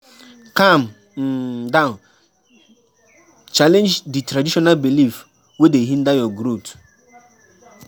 Calm um down challenge di traditional belief wey dey hinder your growth